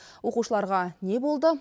оқушыларға не болды